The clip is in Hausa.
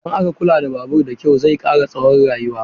Idan aka kula da babur da kyau, zai kara tsawon rayuwa.